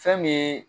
Fɛn min ye